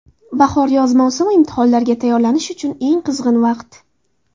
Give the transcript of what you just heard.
Bahor-yoz mavsumi imtihonlarga tayyorlanish uchun eng qizg‘in vaqt.